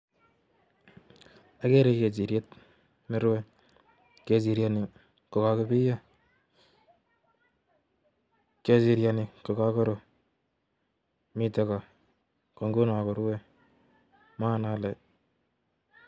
Akere kechiryet nerue kechiryani ko kakopiyio kechiryani ko kakuru mitei ko konguni korue manget ale